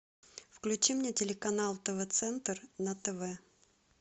включи мне телеканал тв центр на тв